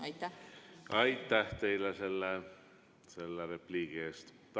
Aitäh teile selle repliigi eest!